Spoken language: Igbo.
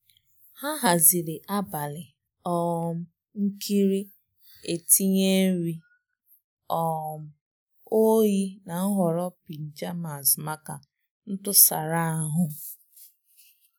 Ha haziri abali um nkiri etinye nri um oyi na nhọrọ pajamas maka ntusara ahù.